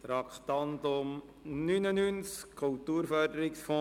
Wir sind beim Traktandum 99: «Kulturförderungsfonds.